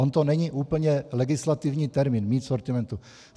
On to není úplně legislativní termín, mít v sortimentu.